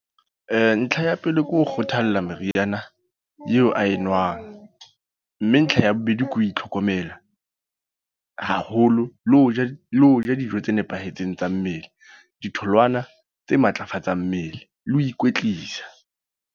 Ntlha ya pele ke ho kgothalla meriana eo a enwang. Mme ntlha ya bobedi ke ho itlhokomela haholo. Le ho ja, le ho ja dijo tse nepahetseng tsa mmele. Ditholwana tse matlafatsang mmele, le ho ikwetlisa.